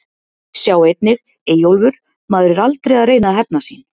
Sjá einnig: Eyjólfur: Maður er aldrei að reyna að hefna sín